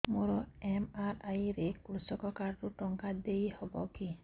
ମୋର ଏମ.ଆର.ଆଇ ରେ କୃଷକ କାର୍ଡ ରୁ ଟଙ୍କା ଦେଇ ହବ କି